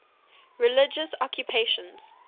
religious occupations